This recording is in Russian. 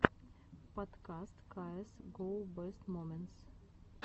подкаст каэс гоу бэст моментс